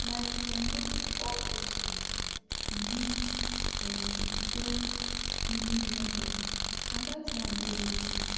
like[um]no be all patients believe[um]di same healing method and that one dey okay